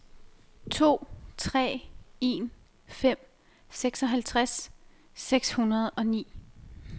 to tre en fem seksoghalvtreds seks hundrede og ni